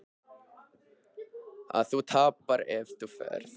Að þú tapar ef þú ferð.